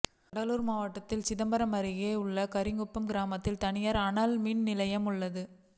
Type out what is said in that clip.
கடலூர் மாவட்டம் சிதம்பரம் அருகே உள்ள கரிகுப்பம் கிராமத்தில் தனியார் அனல்மின் நிலையம் உள்ளது